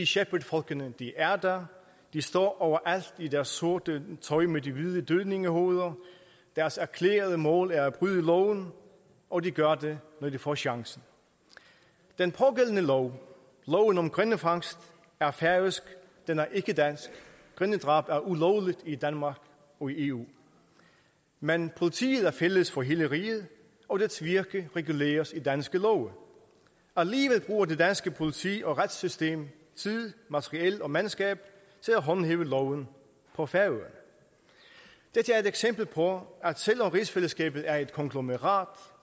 shepherd folkene er der de står overalt i deres sorte tøj med de hvide dødningehoveder deres erklærede mål er at bryde loven og de gør det når de få chancen den pågældende lov loven om grindefangst er færøsk den er ikke dansk grindedrab er ulovligt i danmark og i eu men politiet er fælles for hele riget og dets virke reguleres i danske love alligevel bruger det danske politi og retssystem tid materiel og mandskab til at håndhæve loven på færøerne dette er et eksempel på at selv om rigsfællesskabet er et konglomerat